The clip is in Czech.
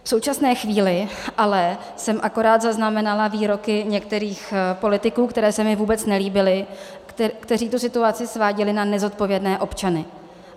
V současné chvíli jsem ale akorát zaznamenala výroky některých politiků, které se mi vůbec nelíbily, kteří tu situaci sváděli na nezodpovědné občany.